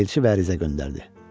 Elçi və ərizə göndərdi.